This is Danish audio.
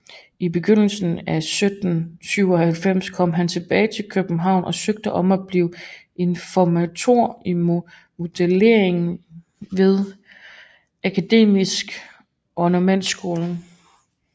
I begyndelsen af 1797 kom han tilbage til København og søgte om at blive informator i modellering ved Akademiets ornamentskole